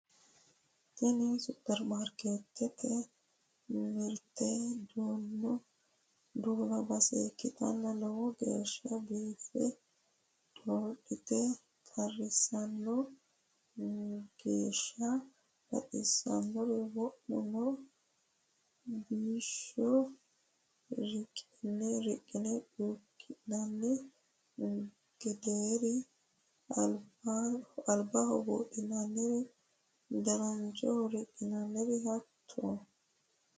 Tini superimaarketete mirte duuno base ikkittanna lowo geeshsha biife dodhate qarrisano geeshsha baxisanori wo'me no bisoho riqqine cuki'nanni gederi, albaho buudhinanniri, dananchoho riqqinannirino hatto.